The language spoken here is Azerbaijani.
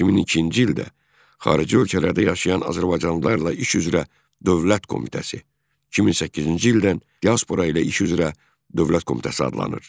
2002-ci ildə Xarici Ölkələrdə Yaşayan Azərbaycanlılarla İş Üzrə Dövlət Komitəsi 2008-ci ildən Diaspora ilə İş Üzrə Dövlət Komitəsi adlanır.